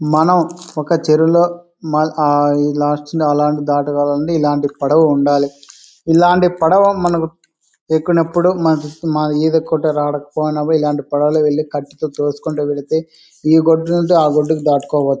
మనం ఒక చెరువులో అహ్హ్ ఇక్కడ ఉండాలి. ఇలాంటి పడవ మనకు ఎక్కినప్పుడు మనకి ఈదికుంటు వచ్చినప్పుడు ఇల్లాంటి పడవలు కటి తోసుకుంటూ వెళ్ళితే ఈ ఒడ్డునుంచి ఆ ఒడ్డు కి దాటుకోవచ్చు.